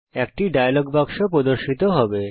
একটি ডায়লগ বাক্স প্রর্দশিত হবে